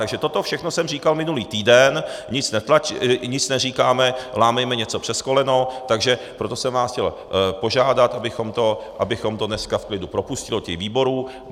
Takže toto všechno jsem říkal minulý týden, nic neříkáme, lámejme něco přes koleno, takže proto jsem vás chtěl požádat, abychom to dneska v klidu propustili do výborů.